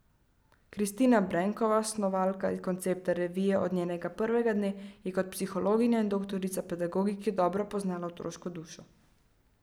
Kristina Brenkova, snovalka koncepta revije od njenega prvega dne, je kot psihologinja in doktorica pedagogike dobro poznala otroško dušo.